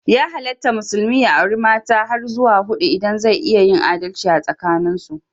Ya halatta musulmi ya auri mata har zuwa hudu idan zai iya yin adalci asakanin su.